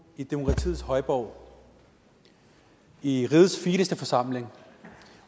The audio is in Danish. i demokratiets højborg i rigets fineste forsamling